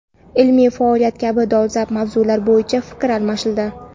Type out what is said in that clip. ilmiy faoliyat kabi dolzarb mavzular bo‘yicha fikr almashildi.